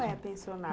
Como é pensionato?